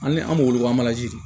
Ani an b'o wele ko